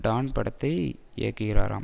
Don படத்தை இயக்குகிறாராம்